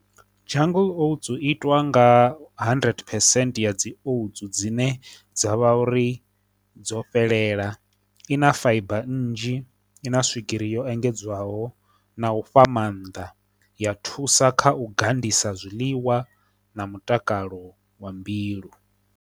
Jungle oats itwa nga hundred percent ya dzi oats dzine dzavha uri dzo fhelela, i na fibre nnzhi, i na swigiri yo engedzwaho, na u fha maanḓa ya thusa kha u gandisa zwiḽiwa na mutakalo wa mbilu.